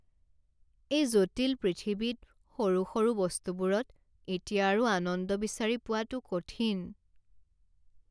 এই জটিল পৃথিৱীত সৰু সৰু বস্তুবোৰত এতিয়া আৰু আনন্দ বিচাৰি পোৱাটো কঠিন।